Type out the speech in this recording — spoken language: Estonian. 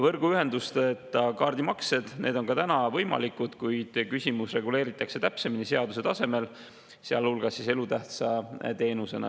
Võrguühenduseta kaardimaksed on ka täna võimalikud, kuid küsimus reguleeritakse täpsemini seaduse tasemel, sealhulgas elutähtsa teenusena.